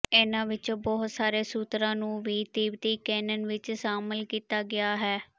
ਇਹਨਾਂ ਵਿੱਚੋਂ ਬਹੁਤ ਸਾਰੇ ਸੂਤਰਾਂ ਨੂੰ ਵੀ ਤਿੱਬਤੀ ਕੈਨਨ ਵਿਚ ਸ਼ਾਮਲ ਕੀਤਾ ਗਿਆ ਹੈ